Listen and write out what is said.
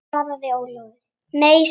Nei, svaraði Ólafur.